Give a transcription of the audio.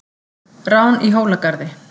Rán í Hólagarði